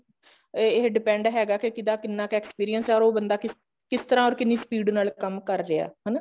ਇਹ depend ਹੈਗਾ ਕੇ ਕਿਹੜਾ ਕਿੰਨਾ experience ਹੈ or ਬੰਦਾ ਕਿਸ ਤਰ੍ਹਾਂ or ਕਿੰਨੀ speed ਨਾਲ ਕੰਮ ਕਰ ਰਿਹਾ ਹਨਾ